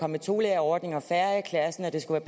med tolærerordning og færre i klassen og det skulle